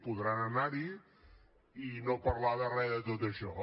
podran anarhi i no parlar de res de tot això